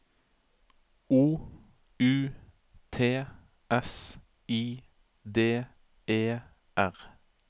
O U T S I D E R